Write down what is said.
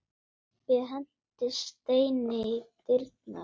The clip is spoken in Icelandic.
Kobbi henti steini í dyrnar.